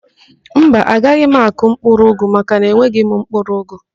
Mba, agaghị m akụ ụgụ makana enweghị m mkpụrụụgụ